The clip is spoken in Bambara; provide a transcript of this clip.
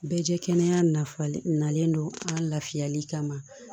Bɛɛ jɛ kɛnɛ nalen don an lafiyali kama